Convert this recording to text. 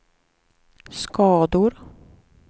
skador